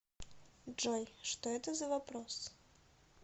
джой что это за вопрос